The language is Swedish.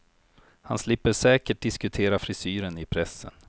Han slipper säkert diskutera frisyren i pressen.